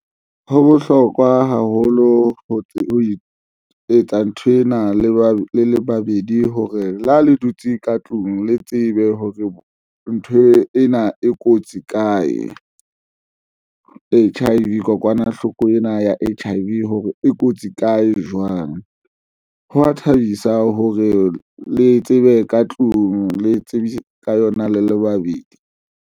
Ho bohlokwa haholo ho etsa nthwena le ba le le babedi hore le ha le dutse ka tlung le tsebe hore ntho ena e kotsi kae, H_I_V kokwanahloko ena ya H_I_V hore e kotsi kae, jwang. Hwa thabisa hore le tsebe ka tlung le tsebisa ka yona le le babedi.